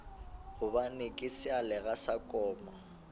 gobane ke sealoga sa koma